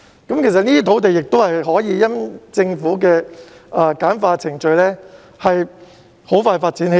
這些土地可以因政府簡化程序而很快發展起來。